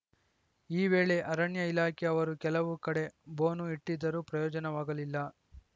ಈ ವೇಳೆ ಅರಣ್ಯ ಇಲಾಖೆ ಅವರು ಕೆಲವು ಕಡೆ ಬೋನು ಇಟ್ಟಿದ್ದರೂ ಪ್ರಯೋಜನವಾಗಲಿಲ್ಲ